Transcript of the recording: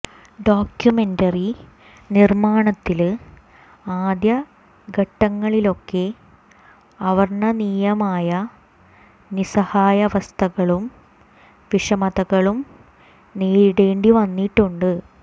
documentary നിര്മ്മാണത്തില് ആദ്യ ഘട്ടങ്ങളിലൊക്കെ അവര്ണ്ണനീയമായ നിസഹായവസ്ഥകളും വിഷമതകളും നേരിടേണ്ടി വന്നിട്ടുണ്ട്